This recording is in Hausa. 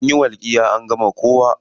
Anyi walƙiya an ga kowa.